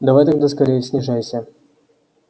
давай тогда скорее снижайся